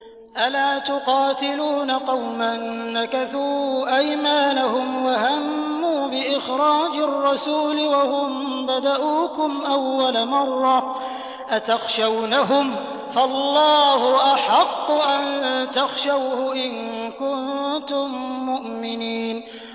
أَلَا تُقَاتِلُونَ قَوْمًا نَّكَثُوا أَيْمَانَهُمْ وَهَمُّوا بِإِخْرَاجِ الرَّسُولِ وَهُم بَدَءُوكُمْ أَوَّلَ مَرَّةٍ ۚ أَتَخْشَوْنَهُمْ ۚ فَاللَّهُ أَحَقُّ أَن تَخْشَوْهُ إِن كُنتُم مُّؤْمِنِينَ